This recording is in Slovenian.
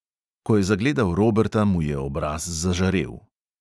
Ko je zagledal roberta, mu je obraz zažarel.